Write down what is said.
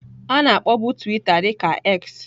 A na-akpọbu twitter dị ka X.